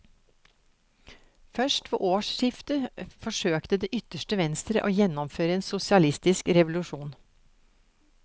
Først ved årsskiftet forsøkte det ytterste venstre å gjennomføre en sosialistisk revolusjon.